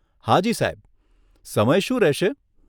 હાજી સાહેબ, સમય શું રહેશે?